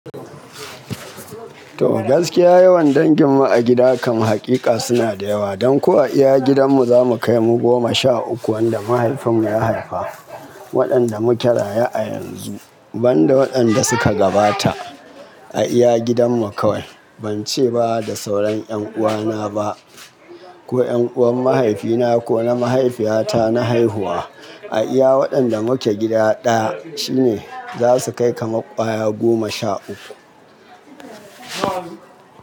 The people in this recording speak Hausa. To gaskiya yawan danginmu a gida kam haƙiƙa suna da yawa. Don ko a iya gidanmu, za mu kai mu goma sha uku. Wanda mahaifinmu ya haifa, waɗanda muke raye a yanzu, banda waɗanda suka gabata a iya gidanmu kawai. Ban ce ba da sauran 'yan uwana ba ko 'yan uwan mahaifina ko na mahaifiyata na haihuwa. A iya waɗanda muke gida ɗaya shi ne za su kai kamar ƙwaya goma sha uku.